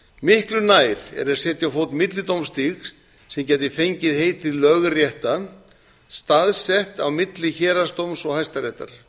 miklu nær er að setja á fót millidómstig sem geti fengið heitið lögrétta staðsett á milli héraðsdóms og hæstaréttar